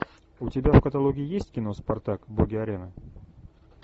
у тебя в каталоге есть кино спартак боги арены